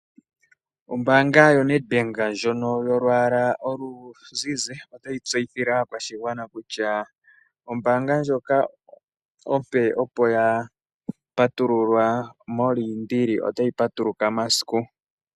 Ombaanga yoNedbank ndjono yolwaala oluzizi otayi tseyithile aakwashigwana kutya oshitayimbaanga shomoLiindili otashi patuluka masiku.